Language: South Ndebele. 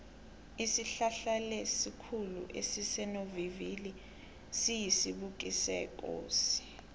isihlahlaesikhulu esisesonovivili siyisibhukusekosi